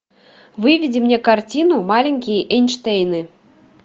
выведи мне картину маленькие эйнштейны